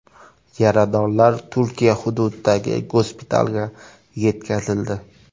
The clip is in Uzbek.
Yaradorlar Turkiya hududidagi gospitalga yetkazildi.